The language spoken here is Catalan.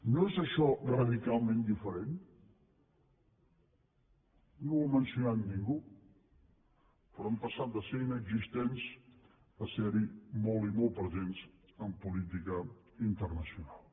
no és això radicalment diferent no ho ha mencionat ningú però hem passat de ser inexistents a ser hi molt i molt presents en política internacional